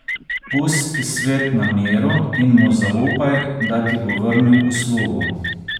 Pusti svet na miru in mu zaupaj, da ti bo vrnil uslugo.